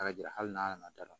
hali n'a nana da la